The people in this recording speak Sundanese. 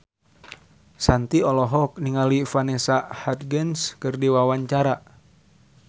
Shanti olohok ningali Vanessa Hudgens keur diwawancara